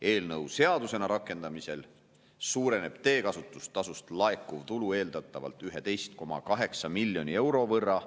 Eelnõu seadusena rakendamisel suureneb teekasutustasust laekuv tulu eeldatavalt 11,8 miljoni euro võrra.